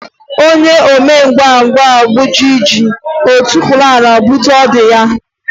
Onye omengwangwa gwujie ji, o tukwuru ala gwute ọdụ ya.